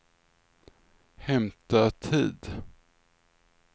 hämta tid